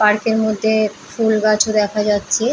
Park এর মধ্যে ফুল গাছও দেখা যাচ্ছে।